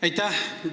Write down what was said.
Aitäh!